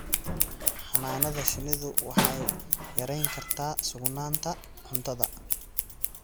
Xannaanada shinnidu waxay yarayn kartaa sugnaanta cuntada.